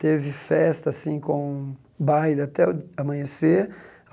Teve festa assim com baile até o d amanhecer.